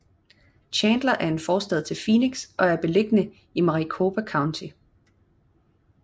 Chandler er en forstad til Phoenix og er beliggende i Maricopa County